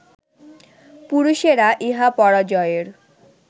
পুরুষেরা ইহা পরাজয়ের